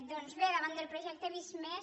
doncs bé davant del projecte visc+